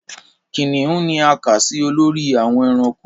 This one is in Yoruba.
Kìnìún ni a kà sí olórí àwọn ẹranko